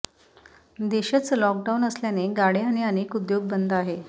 देशच लॉकडाउन असल्याने गाड्या आणि अनेक उद्योग बंद आहे